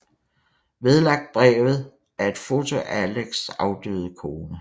Vedlagt brevet er et foto af Alexs afdøde kone